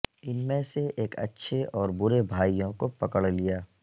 ان میں سے ایک اچھے اور برے بھائیوں کو پکڑ لیا